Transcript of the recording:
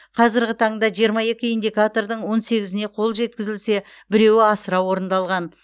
қазірғі таңда жиырма екі индикатордың он сегізіне қол жеткізілсе біреуі асыра орындалған